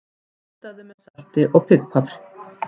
Kryddaðu með salti og pipar.